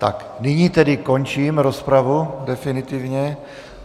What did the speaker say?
Tak nyní tedy končím rozpravu definitivně.